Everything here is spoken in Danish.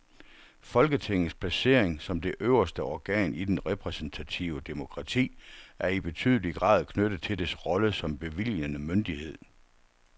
Folketingets placering som det øverste organ i det repræsentative demokrati er i betydelig grad knyttet til dets rolle som bevilgende myndighed.